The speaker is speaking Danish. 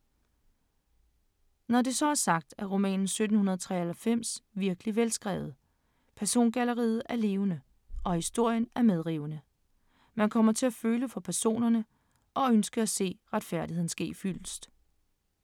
Når det så er sagt, er romanen 1793 virkelig velskrevet, persongalleriet er levende, og historien er medrivende. Man kommer til at føle for personerne og ønske at se retfærdigheden ske fyldest.